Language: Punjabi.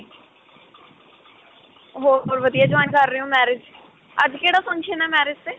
ਹੋਰ ਵਧੀਆ ਕਰ ਰਹੇ ਹੋ marriage? ਅੱਜ ਕਿਹੜਾ function ਹੈ marriage 'ਤੇ?